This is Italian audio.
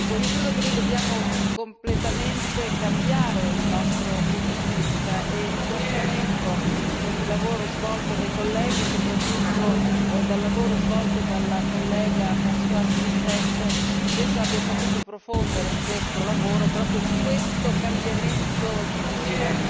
Io credo che noi dobbiamo completamente cambiare il nostro punto di vista e mi complimento con il lavoro svolto dai colleghi e soprattutto dalla collega Françoise Grossêtete che penso abbia saputo profondere in questo lavoro proprio questo cambiamento di visione.